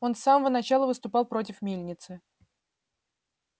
он с самого начала выступал против мельницы